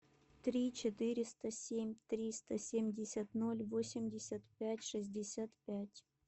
три четыреста семь триста семьдесят ноль восемьдесят пять шестьдесят пять